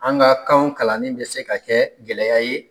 An ga kanw kalanni bɛ se ka kɛ gɛlɛya ye